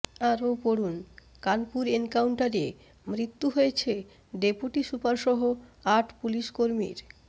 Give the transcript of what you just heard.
আরও পড়ুন কানপুর এনকাউন্টারে মৃত্যু হয়েছে ডেপুটি সুপার সহ আট পুলিশকর্মীর